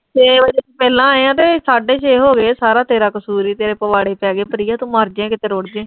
ਪਹਿਲਾਂ ਆਏ ਆਂ ਤੇ, ਸਾਢੇ ਛੇ ਹੋਗੇ ਸਾਰੇ ਤੇਰਾ ਕਸੂਰ ਏ, ਤੇਰੇ ਪਵਾੜੇ ਪੈਗੇ, ਪ੍ਰਿਯਾ ਤੂੰ ਮਰਜ਼ੇ ਕਿਤੇ ਰੁੜ ਜੇਂ।